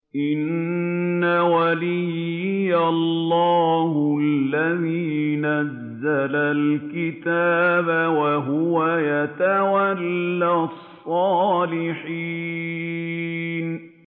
إِنَّ وَلِيِّيَ اللَّهُ الَّذِي نَزَّلَ الْكِتَابَ ۖ وَهُوَ يَتَوَلَّى الصَّالِحِينَ